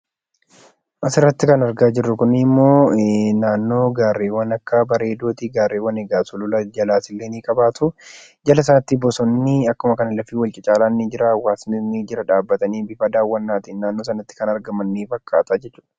Asirratti kan argaa jirru kuni ammo naannoo gaarreewwan akka bareedooti. Gaarreewwan egaa sulula jalaa ni qabaatu. Jala isaatti bosonni akkasuma egaa lafti wal cacaalaan ni jira. Hawaasni jala dhaabbatanii bifa daawwannaatin naannoo sanatti kan argaman ni fakkaata.